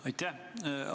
Aitäh!